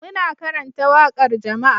Muna karanta waƙar jama'a